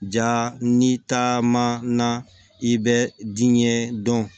Ja ni taama na i bɛ diɲɛ dɔn